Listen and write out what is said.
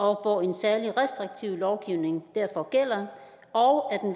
hvor en særlig restriktiv lovgivning derfor gælder og